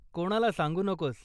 कोणाला सांगू नकोस...